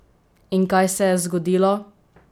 In kaj se je zgodilo?